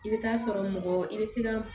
I bɛ taa sɔrɔ mɔgɔ i bɛ se ka